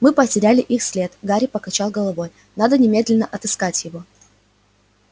мы потеряли их след гарри покачал головой надо немедленно отыскать его